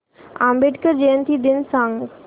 आंबेडकर जयंती दिन सांग